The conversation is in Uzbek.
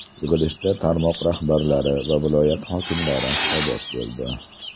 Yig‘ilishda tarmoq rahbarlari va viloyat hokimlari hisobot berdi.